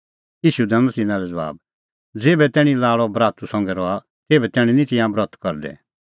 ईशू दैनअ तिन्नां लै ज़बाब ज़ेभै तैणीं लाल़अ बरातू संघै रहा तेभै निं तिंयां ब्रत करदै